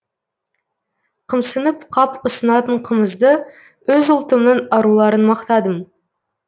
қымсынып қап ұсынатын қымызды өз ұлтымның аруларын мақтадым